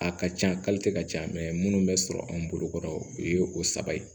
A ka ca ka ca minnu bɛ sɔrɔ anw bolo kɔrɔ o ye o saba ye